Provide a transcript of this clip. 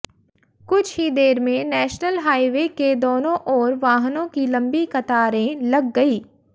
कुछ ही देर में नेशनल हाईवे के दोनों ओर वाहनों की लंबी कतारें लग गई